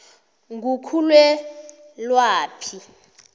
ngukhulelwaphi